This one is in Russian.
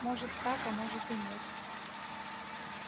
может так а может и нет